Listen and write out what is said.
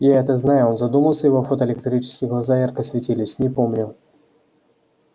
я это знаю он задумался его фотоэлектрические глаза ярко светились не помню